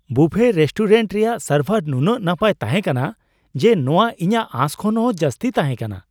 ᱵᱩᱯᱷᱮ restaurant ᱨᱮᱭᱟᱜ ᱥᱟᱨᱵᱷᱟᱨ ᱱᱩᱱᱟᱹᱜ ᱱᱟᱯᱟᱭ ᱛᱟᱦᱮᱸ ᱠᱟᱱᱟ ᱡᱮ ᱱᱚᱣᱟ ᱤᱧᱟᱹᱜ ᱟᱸᱥ ᱠᱷᱚᱱ ᱦᱚᱸ ᱡᱟᱹᱥᱛᱤ ᱛᱟᱦᱮᱸ ᱠᱟᱱᱟ ᱾